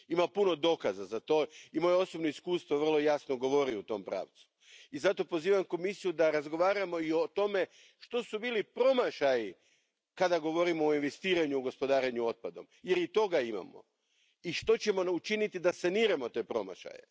Ima puno dokaza za to i moje osobno iskustvo vrlo jasno govori u tom pravcu i zato pozivam Komisiju da razgovaramo i o tome što su bili promašaji kada govorimo o investiranju u gospodarenju otpadom, jer i toga imamo, i što ćemo učiniti da saniramo te promašaje.